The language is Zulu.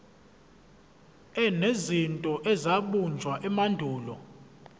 enezinto ezabunjwa emandulo